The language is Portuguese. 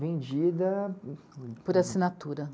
Vendida... Por assinatura.